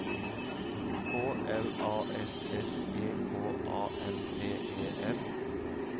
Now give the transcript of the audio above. K L A S S E K A M P E N